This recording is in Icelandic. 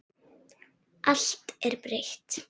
Allt er breytt.